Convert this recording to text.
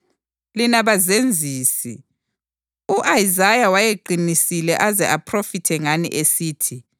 Lina bazenzisi! U-Isaya wayeqinisile aze aphrofithe ngani esithi: